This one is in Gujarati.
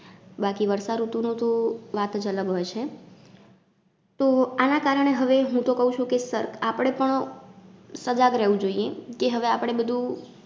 બાકી વર્ષાઋતુનું તો વાત જ અલગ હોય છે તો આના કારણે હવે હું તો કઉ છું કે, આપડે પણ સજાગ રહેવું જોઈએ કે, હવે આપડે બધુ